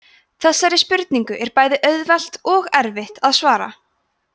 þessari spurningu er bæði auðvelt og erfitt að svara